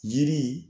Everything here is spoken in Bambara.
Yiri